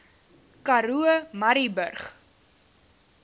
karoo murrayburg